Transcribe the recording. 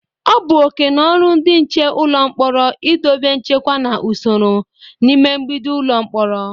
O bu okeno oru ndị nche ụlọ mkporo idobe nchekwa na usoro n'ime mgbidi ụlọ mkpọrọ.